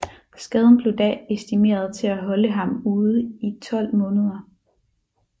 Skaden blev da estimeret til at holde ham ude i 12 måneder